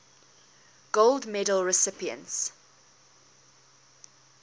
gold medal recipients